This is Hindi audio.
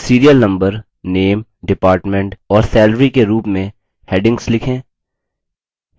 serial number name department और salary के रूप में headings लिखें